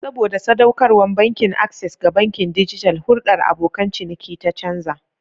Saboda sadaukarwar Bankin Access ga bankin dijital, hulɗar abokan ciniki ta canza.